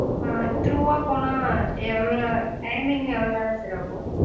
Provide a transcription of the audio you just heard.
through வா போனா எவ்வளவு நேரம timing எவ்வளவு நேரம் sir ஆகும்.